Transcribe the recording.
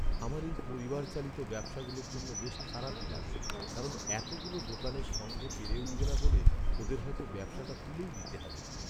আমার এই পরিবার চালিত ব্যবসাগুলোর জন্য বেশ খারাপই লাগে, কারণ এতগুলো দোকানের সঙ্গে পেরে উঠবে না বলে ওদের হয়তো ব্যবসাটা তুলেই দিতে হবে।